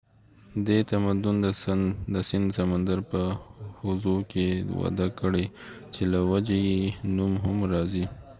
دې تمدن د سند سمندر په حوزو کې وده کړي چې له وجې یې نوم هم راځي